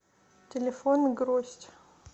телефон гроздь